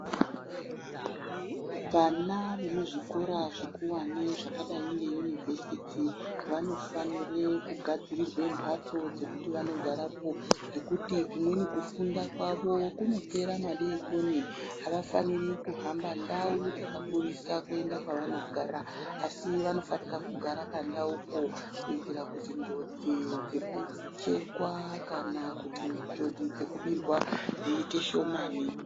Vana vemuzvikora zvikuwane zvadayi ngeyunivhesiti, vanofanire kugadzirirwa mbatso dzekuti vandogarapo ,ngekuti kumweni kufunda kwavo kunopera madokoni, avafaniri kuhamba ndau dzakakurisa kuenda kwavanogara, asi vanofanika kugara pandawupo ,kuyitira kuti njodzi dzekuchekwa kana kuti njodzi dzekubirwa dziyite shomani.